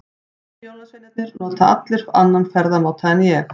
Hinir jólasveinarnir nota allir aðra ferðamáta en ég.